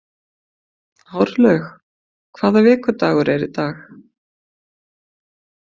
Árlaug, hvaða vikudagur er í dag?